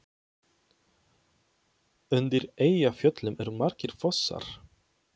Undir Eyjafjöllum eru margir fossar.